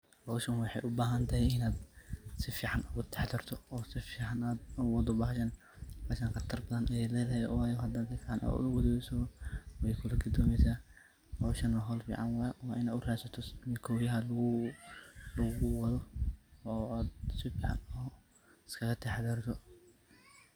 Hooshan waxay u bahanthay inat sufacan UGA taxadartoh, oo sufican u waatoh bahashan qatartan Aya leedahay oo sufican u wareejisoh, hooshan wa hool fican oo u ratsatoh ini lagu watho oo sufican isgaka taxadartoh .